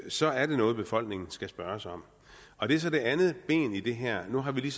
så er det noget befolkningen skal spørges om og det er så det andet ben i det her nu har vi lige